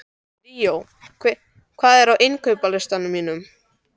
Ríó, hvað er á innkaupalistanum mínum?